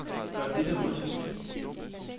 Gør dette rødt.